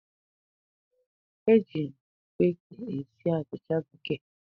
E ji baking esi achịcha bekee